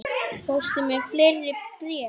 Fórstu með fleiri bréf?